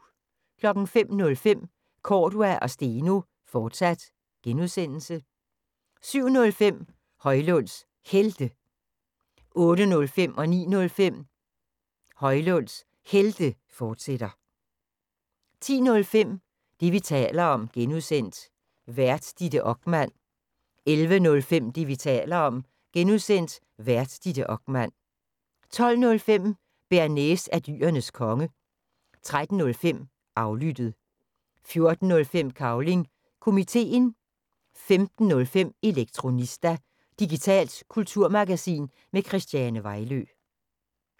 05:05: Cordua & Steno, fortsat (G) 07:05: Højlunds Helte 08:05: Højlunds Helte, fortsat 09:05: Højlunds Helte, fortsat 10:05: Det, vi taler om (G) Vært: Ditte Okman 11:05: Det, vi taler om (G) Vært: Ditte Okman 12:05: Bearnaise er Dyrenes Konge 13:05: Aflyttet 14:05: Cavling Komiteen 15:05: Elektronista – digitalt kulturmagasin med Christiane Vejlø